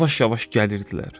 Yavaş-yavaş gəlirdilər.